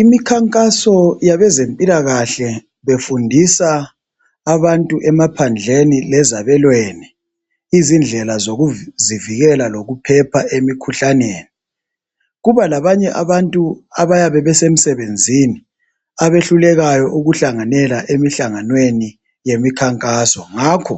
Imikhankaso yabezempilakahle befundisa abantu emaphandleni lezabelweni indlela zozikuvikela lokuphepha emikhuhlaneni kuba labanye abantu abayabe besemsebenzini abehlulekayo ukuhlanganela emahlanganweni yemikhankaso ngakho